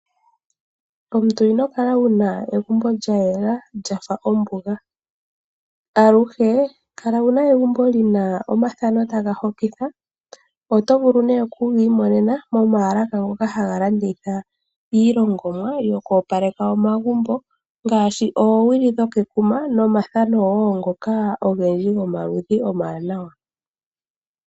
Omuntu ino kala wuna egumbo lya yela lyafa ombuga. Aluhe kala wuna egumbo lina omathano taga hokitha. Oto vulu nduno oku gi imonena mo maalaka ngoka haga landitha iilongomwa yoku opaleka omagumbo, ngaashi oowili dho kekuma no mathano woo ngoka ogendji go maludhi omawanawa.